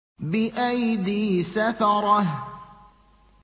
بِأَيْدِي سَفَرَةٍ